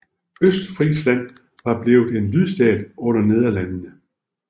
Østfrisland var blevet en lydstat under Nederlandene